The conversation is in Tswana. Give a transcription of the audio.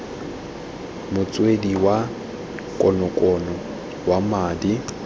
motswedi wa konokono wa madi